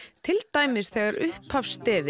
til dæmis þegar upphafsstef